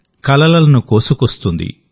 కలలను కోసుకొస్తుంది